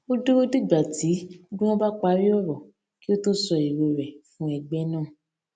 ó dúró dìgbà tí gbogbo wọn bá parí òrò kí ó tó sọ èrò rè fún ẹgbẹ náà